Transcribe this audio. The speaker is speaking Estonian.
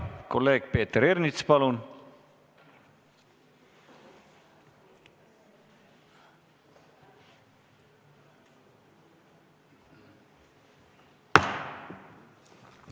Kolleeg Peeter Ernits, palun!